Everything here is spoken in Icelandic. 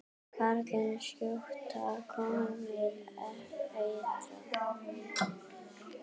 Karlar skjóta, konur eitra.